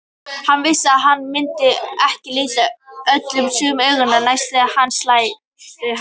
Hann vissi að hann myndi ekki líta Gulla sömu augum næst þegar hann sæi hann.